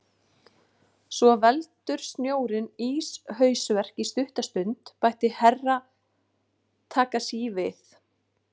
Svo veldur snjórinn íshausverk í stutta stund, bætti Herra Takashi við.